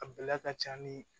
A bɛlɛ ka ca ni